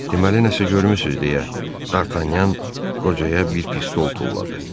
Deməli nəsə görmüsüz deyə Dartanyan qocaya bir pistol tulladı.